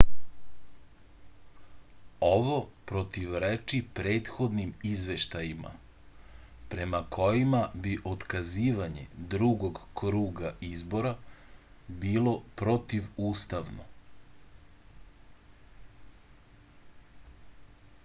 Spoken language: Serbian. ovo protivreči prethodnim izveštajima prema kojima bi otkazivanje drugog kruga izbora bilo protivustavno